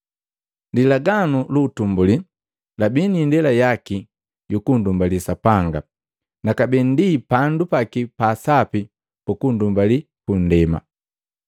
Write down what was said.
Lilaganu lu utumbuli labii ni indela yaki yu kunndumbali Sapanga na kabee ndi pandu paki pa asapi pukundumbali punndema.